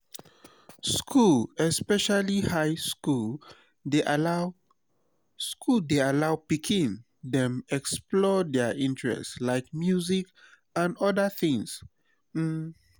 school especially high school dey allow school dey allow pikin dem explore their interest like music anf odda things um